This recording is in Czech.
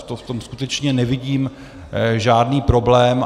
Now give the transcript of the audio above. V tom skutečně nevidím žádný problém.